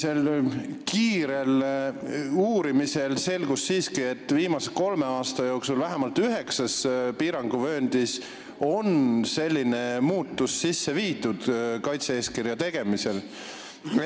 Meie kiire uurimise käigus selgus siiski, et viimase kolme aasta jooksul on vähemalt üheksas piiranguvööndis selline muudatus kaitse-eeskirja sisse viidud.